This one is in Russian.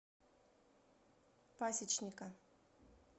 пасечника